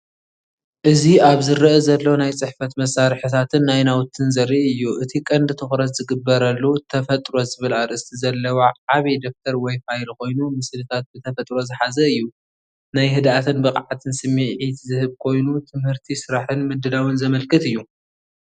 እዚ ኣብ ዝረአ ዘሎ ናይ ጽሕፈት መሳርሒታትን ናይ ናውትን ዘርኢ እዩ። እቲ ቀንዲ ትኹረት ዝግበረሉ"ተፈጥሮ"ዝብል ኣርእስቲ ዘለዎ ዓቢ ደፍተር ወይ ፋይል ኮይኑ ምስልታት ተፈጥሮ ዝሓዘ እዩ። ናይ ህድኣትን ብቕዓትን ስምዒት ዝህብ ኮይኑ ትምህርቲስራሕን ምድላውን ዘመልክት እዩ።